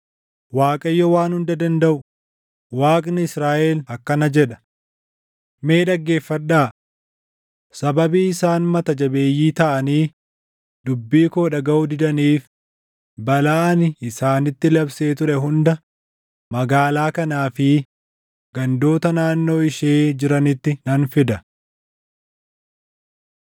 “ Waaqayyo Waan Hunda Dandaʼu, Waaqni Israaʼel akkana jedha; ‘Mee dhaggeeffadhaa! Sababii isaan mata jabeeyyii taʼanii dubbii koo dhagaʼuu didaniif balaa ani isaanitti labsee ture hunda magaalaa kanaa fi gandoota naannoo ishee jiranitti nan fida.’ ”